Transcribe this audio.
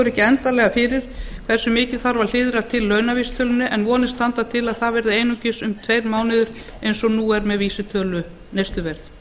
ekki endanlega fyrir hversu mikið þarf að hliðra launavísitölunni til en vonir standa til að það verði einungis um tveir mánuðir eins og nú er með vísitölu neysluverðs